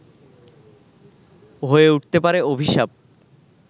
হয়ে উঠতে পারে অভিশাপ